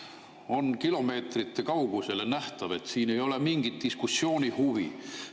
On kilomeetrite kaugusele nähtav, et siin ei ole mingit diskussioonihuvi.